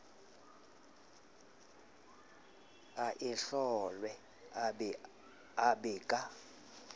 e ahlolwe e be ka